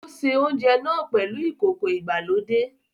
O ṣe oúnjẹ náà pèlú ìkókó ìgbàlódé